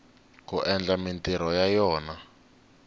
ku endla mintirho ya yona